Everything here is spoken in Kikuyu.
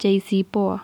JCPoA.